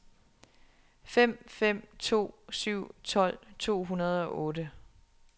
fem fem to syv tolv to hundrede og otte